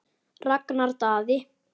Ragnar Daði.